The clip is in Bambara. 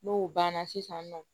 N'o banna sisan nɔ